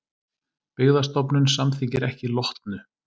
Byggðastofnun samþykkir ekki Lotnu